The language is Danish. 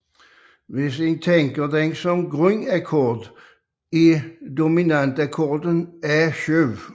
Hvis man tænker den som grundakkord er dominantakkorden A7